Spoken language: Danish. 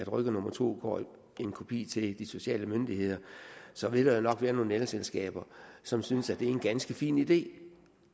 rykker nummer to går en kopi til de sociale myndigheder så vil der jo nok være nogle elselskaber som synes det er en ganske fin idé